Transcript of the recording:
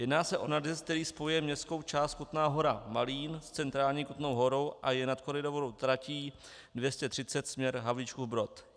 Jedná se o nadjezd, který spojuje městskou část Kutná Hora - Malín s centrální Kutnou Horou a je nad koridorovou tratí 230 směr Havlíčkův Brod.